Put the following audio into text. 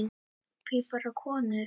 Hví bara konur?